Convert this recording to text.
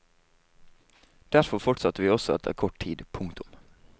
Derfor fortsatte vi også etter kort tid. punktum